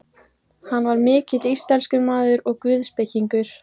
Hann var mikill íslenskumaður og guðspekingur.